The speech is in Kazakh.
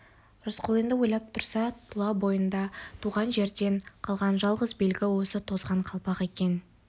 рысқұл енді ойлап тұрса тұла бойында туған жерден қалған жалғыз белгі осы тозған қалпақ екен